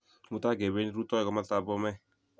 Mutai kependi rutoi kumastap Bomey